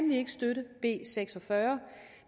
vi ikke støtte b seks og fyrre